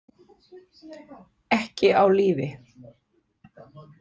Ekki á lífi.